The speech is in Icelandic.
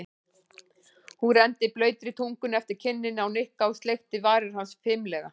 Hún renndi blautri tungunni eftir kinninni á Nikka og sleikti varir hans fimlega.